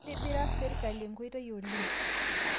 Keitibira serikali nkoitei oleng